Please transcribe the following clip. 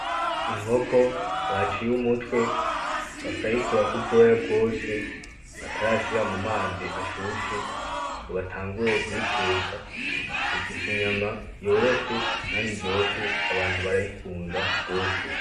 Inkoko baciye umutwe bakayikurako ubwoya bwose batarashira mu mazi ashushe, ngo batanguye kuyiteka, ifise inyama yoroshe kandi iryoshe, abantu barayikunda gose.